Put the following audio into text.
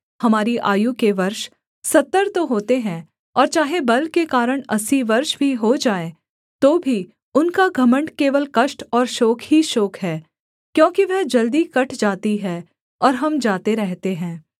हमारी आयु के वर्ष सत्तर तो होते हैं और चाहे बल के कारण अस्सी वर्ष भी हो जाएँ तो भी उनका घमण्ड केवल कष्ट और शोक ही शोक है क्योंकि वह जल्दी कट जाती है और हम जाते रहते हैं